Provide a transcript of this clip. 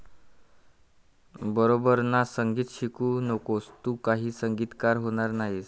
बरोबर ना? संगीत शिकू नकोस, तू काही संगीतकार होणार नाहीस.